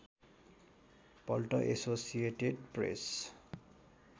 पल्ट Associated press